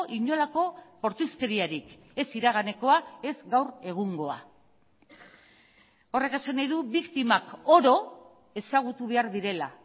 inolako bortizkeriarik ez iraganekoa ez gaur egungoa horrek esan nahi du biktimak oro ezagutu behar direla